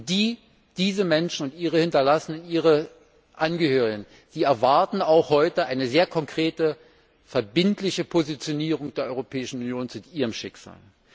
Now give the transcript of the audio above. Und diese Menschen und ihre Hinterblieben und ihre Angehörigen erwarten heute auch eine sehr konkrete verbindliche Positionierung der Europäischen Union zu ihrem Schicksal.